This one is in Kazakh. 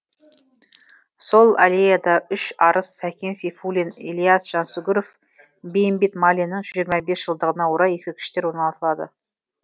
сол аллеяда үш арыс сәкен сейфуллин ілияс жансүгіров бейімбет майлиннің жүз жиырма бес жылдығына орай ескерткіштер орнатылады